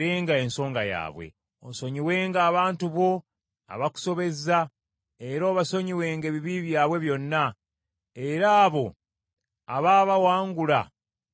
Osonyiwenga abantu bo abakusobezza, era obasonyiwenga ebibi byabwe byonna, era abo abaabawangula babakwatirwe ekisa,